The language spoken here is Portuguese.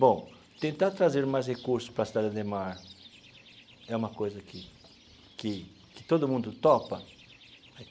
Bom, tentar trazer mais recursos para a cidade Ademar é uma coisa que que que todo mundo topa?